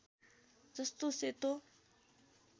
जस्तो सेतो